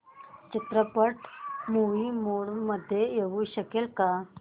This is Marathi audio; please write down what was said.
चित्रपट मूवी मोड मध्ये येऊ शकेल का